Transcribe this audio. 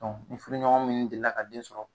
ni furuɲɔgɔn minnu delila ka den sɔrɔ